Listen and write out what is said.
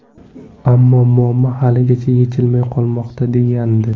Ammo muammo haligacha yechilmay qolmoqda”, degandi.